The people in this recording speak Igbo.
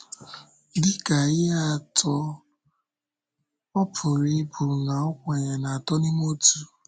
Dị ka ihe atụ, ọ pụrụ ịbụ na ọ kwèrè n’Atọ n’Íme Ọtụ.